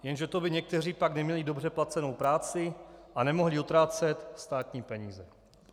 Jenže to by někteří pak neměli dobře placenou práci a nemohli utrácet státní peníze.